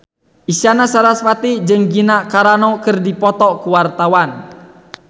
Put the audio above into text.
Isyana Sarasvati jeung Gina Carano keur dipoto ku wartawan